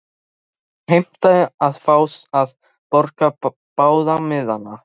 Hann heimtaði að fá að borga báða miðana.